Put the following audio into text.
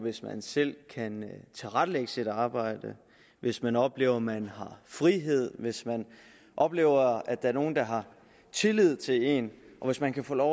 hvis man selv kan tilrettelægge sit arbejde hvis man oplever at man har frihed hvis man oplever at der er nogen der har tillid til en og hvis man kan få lov